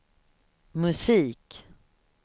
musik